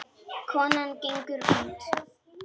Konan gengur út.